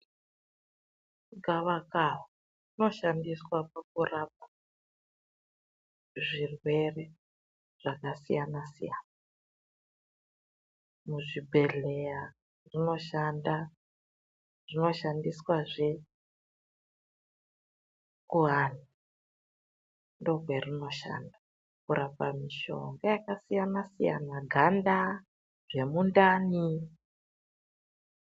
Gavakava rino shandiswa pakurapa zvirwere zvakasiyana siyana muzvibhedhlera rino shandiswa rino. shandiswa zve kurapa ndokwe rino shanda kurapa mishonga yakasiyana siyana ganda zvemundani.